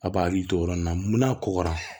A b'a hakili to o yɔrɔ nin na mun n'a kɔgɔra